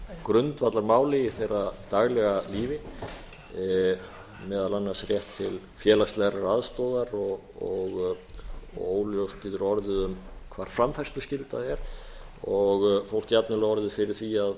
grundvallarmáli í þeirra daglega lífi meðal annars rétt til félagslegrar aðstoðar og óljóst getur orðið um hvar framfærsluskylda er og fólk jafnvel orðið fyrir því að